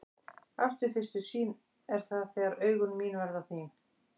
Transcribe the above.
Ást við fyrstu sýn er það þegar augun þín verða mín.